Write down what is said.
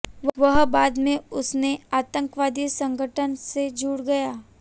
वह बाद में उसने आतंकवादी संगठन से जुड़ गया